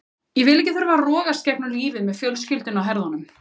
Ég vil ekki þurfa að rogast gegnum lífið með fjölskylduna á herðunum.